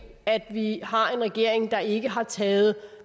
at vi har en regering der ikke har taget